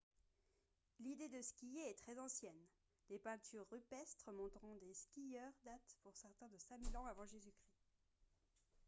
l'idée de skier est très ancienne : des peintures rupestres montrant des skieurs datent pour certaines de 5 000 ans av. j.-c. !